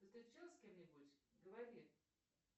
ты встречалась с кем нибудь говори